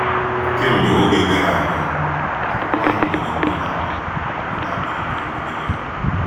Kemgbe oge gara aga, akwụkwọ ahụ nwere ndị na-akpa ndị na-akpa ike megide ya.